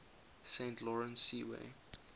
saint lawrence seaway